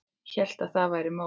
Hélt að það væri málið.